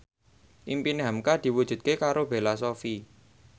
impine hamka diwujudke karo Bella Shofie